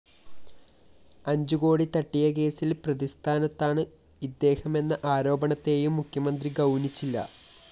അഞ്ചുകോടി തട്ടിയകേസില്‍ പ്രതിസ്ഥാനത്താണ് ഇദ്ദേഹമെന്ന ആരോപണത്തെയും മുഖ്യമന്ത്രി ഗൗനിച്ചില്ല